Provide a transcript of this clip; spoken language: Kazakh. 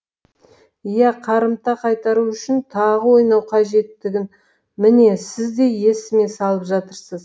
ия қарымта қайтару үшін тағы ойнау қажеттігін міне сіз де есіме салып жатырсыз